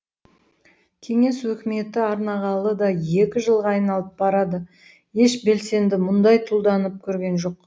кеңес өкіметі орнағалы да екі жылға айналып барады еш белсенді мұндай тұлданып көрген жоқ